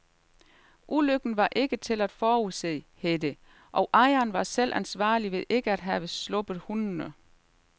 Ulykken var ikke til at forudse, hed det, og ejeren var selv ansvarlig ved ikke at have sluppet hundene.